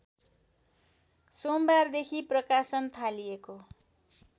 सोमबारदेखि प्रकाशन थालिएको